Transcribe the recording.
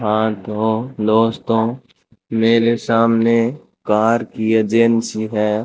हां तो दोस्तों मेरे सामने कार की एजेंसी है।